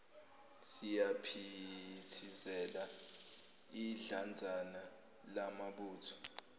siyaphithizela idlanzana lamabutho